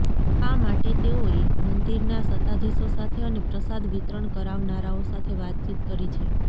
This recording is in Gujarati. આ માટે તેઓએ મંદિરના સત્તાધીશો સાથે અને પ્રસાદ વિતરણ કરાવનારાઓ સાથે વાતચીત કરી છે